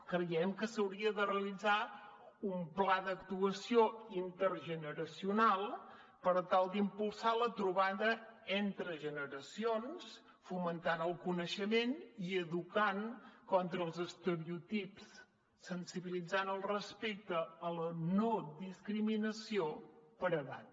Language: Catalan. creiem que s’hauria de realitzar un pla d’actuació intergeneracional per tal d’impulsar la trobada entre generacions i fomentar el coneixement i educar contra els estereotips i sensibilitzar el respecte a la no discriminació per edat